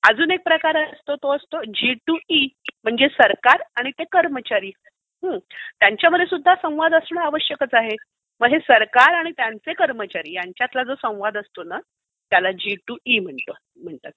अजून एक प्रकार आहे तो असतो जी टू ई म्हणजे सरकार आणि ते कर्मचारी. त्यांच्यामध्ये सुद्धा संवाद असणे आवश्यकच आहे. म्हणजे सरकार आणि कर्मचारी त्यांच्यामध्ये जो संवाद असतो ना त्याला जी टू ई म्हणतात.